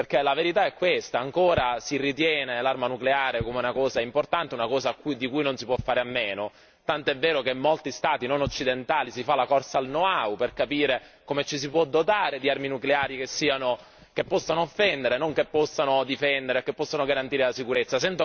Perché la verità è questa ancora si ritiene l'arma nucleare come una cosa importante, una cosa di cui non si può fare a meno, tanto è vero che in molti Stati non occidentali si fa la corsa al know how per capire come ci si può dotare di armi nucleari che possano offendere non che possano difendere o che possano garantire la sicurezza.